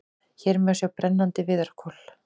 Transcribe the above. Hér má sjá brennandi viðarkol.